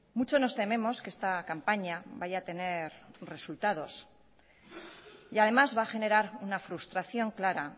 mucho nos tememos que esta campaña vaya a tener resultados y además va a generar una frustración clara